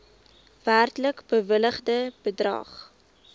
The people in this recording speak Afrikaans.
werklik bewilligde bedrag